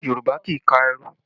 Yorùbá kì í ka ẹrú